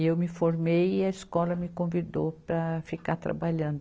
E eu me formei e a escola me convidou para ficar trabalhando.